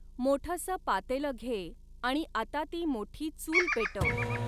मोठसं पातेलं घे आणि आता ती मोठी चूल पेटव.